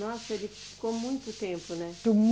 Nossa, ele ficou muito tempo, né?